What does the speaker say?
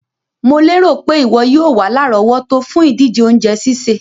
Mo lérò pé ìwo yio wa lárọ̀wọ́tó fùn ìdíje ounje sísè